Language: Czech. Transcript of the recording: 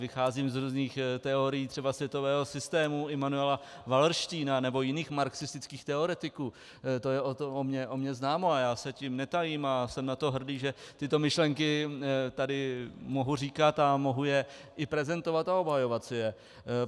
Vycházím z různých teorií třeba světového systému Immanuela Wallersteina nebo jiných marxistických teoretiků, to je o mně známo a já se tím netajím a jsem na to hrdý, že tyto myšlenky tady mohu říkat a mohu je i prezentovat a obhajovat si je.